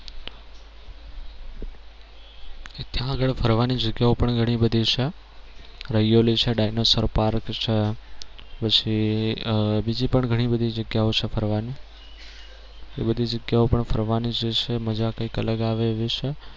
ત્યાં આગળ ફરવાની જગ્યાઓ પણ ઘણી બધી છે dianosar park પછી આહ બીજી પણ ઘણી બધી જગ્યાઓ છે ફરવાની એ બધી જગ્યાઓ પણ ફરવાની જે છે મજા કઈક અલગ આવે એવી છે.